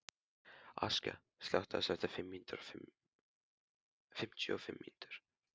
Askja, slökktu á þessu eftir fimmtíu og fimm mínútur.